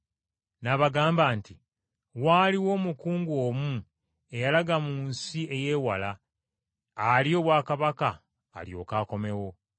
N’abagamba nti, “Waaliwo omukungu omu eyalaga mu nsi ey’ewala alye obwakabaka alyoke akomewo.